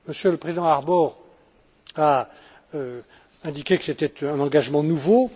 Le président Harbour a indiqué que c'était un engagement nouveau.